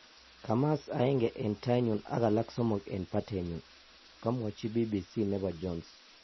kamaas aeng en tainyun ak alak somok en patenyun ,� kamwachi BBC nepo Jones